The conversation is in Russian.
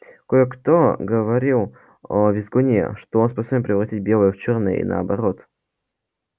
кое-кто говорил о визгуне что он способен превратить белое в чёрное и наоборот